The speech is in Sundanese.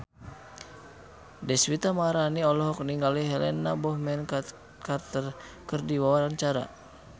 Deswita Maharani olohok ningali Helena Bonham Carter keur diwawancara